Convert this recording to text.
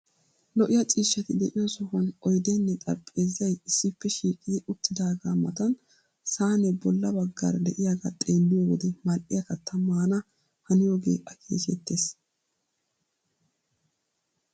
Lo"iya ciishshati de'iyo sohuwan oydeenne xarapheezzay issippe shiiqidi uttidaagaa matan saanee bolla baggaara de'iyagaa xeelliyo wode mal"iya kattaa maana haniyogee akeekettees.